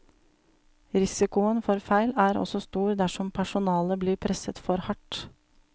Risikoen for feil er også stor dersom personalet blir presset for hardt.